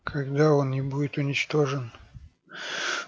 тогда он не будет уничтожен